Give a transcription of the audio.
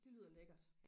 det lyder lækkert